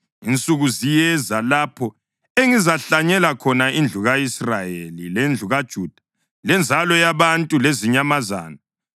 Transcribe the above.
“Insuku ziyeza, lapho engizahlanyela khona indlu ka-Israyeli lendlu kaJuda lenzalo yabantu lezinyamazana.